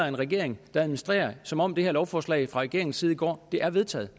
en regering der administrerer som om det her lovforslag fra regeringens side i går er vedtaget